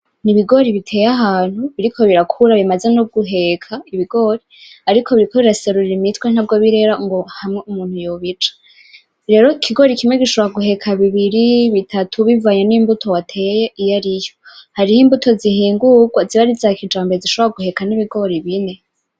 Ni ibigori biteye ahantu biriko birakura bimaze no guheka ibigori, ariko biriko biraserura imitwe ntabwo birera ngo hamwe umuntu yobica. Rero ikigori kimwe gishobora guheka bibiri, bitatu bivanye n'imbuto wateye iyariyo. Hariho imbuto zihingurwa ziba ari iza kijambere zishobora no guheka ibigori bine.